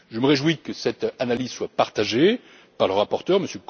Je me réjouis que cette analyse soit partagée par le rapporteur,